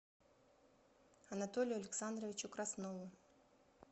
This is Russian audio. анатолию александровичу краснову